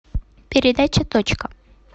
передача точка